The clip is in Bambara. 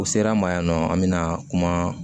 U sera an ma yan nɔ an bɛna kuma